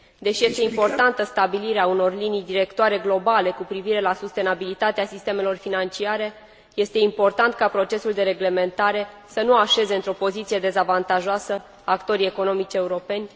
Deși este importantă stabilirea unor linii directoare globale cu privire la sustenabilitatea sistemelor financiare, este important ca procesul de reglementare să nu așeze într o poziție dezavantajoasă actorii economici europeni.